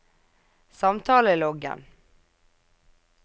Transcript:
samtaleloggen